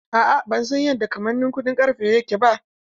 A'a, ban san yadda kamannin kuɗin ƙarfe yake ba.